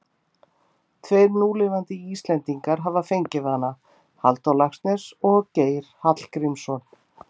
Tveir núlifandi Íslendingar hafa fengið hana, Halldór Laxness og Geir Hallgrímsson.